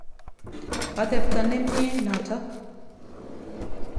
Atepto nemye notok.